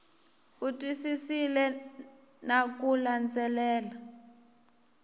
u twisisile na ku landzelela